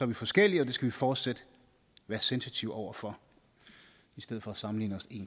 vi forskellige og det skal vi fortsat være sensitive over for i stedet for at sammenligne